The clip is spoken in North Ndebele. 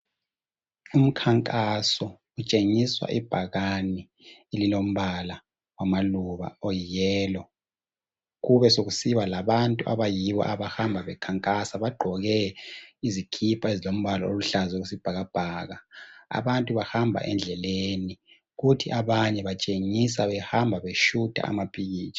Kutshengiswe ibhakane lilombala wamaluba oyiyellow, kube sokusiba labantu abayibo abahamba bekhankasa. Bagqoke izikipa ezilombala oluhlaza okwesibhakabhaka. Abantu bahamba endlebeni kuthi abanye batshengisa behamba beshuta amapikitsha.